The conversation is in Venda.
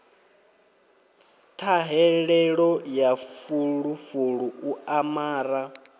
ṱhahelelo ya fulufulu u amara